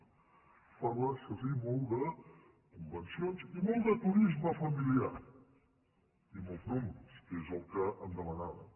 s’hi parla això sí molt de convencions i molt de turisme familiar i molts números que és el que em demanaven